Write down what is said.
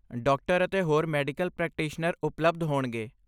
Doctor ਅਤੇ ਹੋਰ medical practitioner ਉਪਲਬਧ ਹੋਣਗੇ।